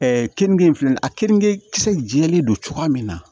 kenige in filɛ nin ye a keninge kisɛ jɛlen don cogoya min na